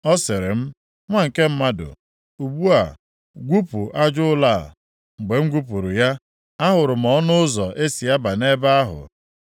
Ọ sịrị m, “Nwa nke mmadụ, ugbu a gwupuo aja ụlọ a.” Mgbe m gwupuru ya, ahụrụ m ọnụ ụzọ e si aba nʼebe ahụ.